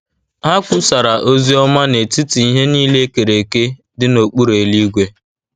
Ha kwusara ozi ọma “ n’etiti ihe niile e kere eke dị n’okpuru eluigwe. ”